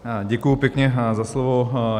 Děkuju pěkně za slovo.